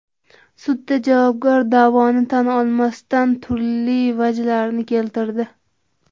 Sudda javobgar da’voni tan olmasdan turli vajlarni keltirdi.